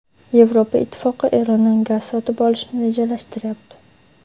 Yevropa Ittifoqi Erondan gaz sotib olishni rejalashtiryapti.